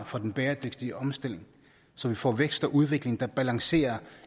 for den bæredygtige omstilling så vi får vækst og udvikling der balancerer